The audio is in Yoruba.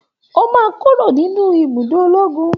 O máa kúrò nínú ibùdó ológun